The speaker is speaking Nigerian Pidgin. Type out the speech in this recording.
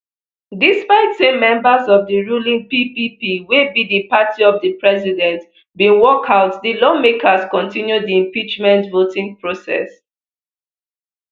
despite say members of di ruling ppp wey be di party of di president bin walkout di lawmakers kontinue di impeachment voting process